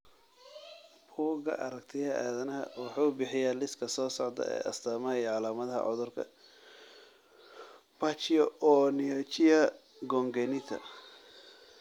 Bugga Aaragtiyaha Aadanaha wuxuu bixiyaa liiska soo socda ee astamaha iyo calaamadaha cudurka Pachyonychia congenita.